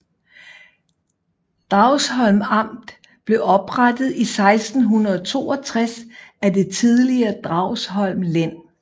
Dragsholm Amt blev oprettet i 1662 af det tidligere Dragsholm Len